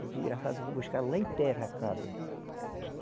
O desgraçado foi buscar ela em terra a cabra.